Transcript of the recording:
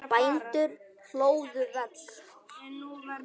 Bændur hlóðu vegg.